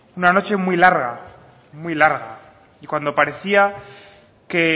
una noche muy larga muy larga y cuando parecía que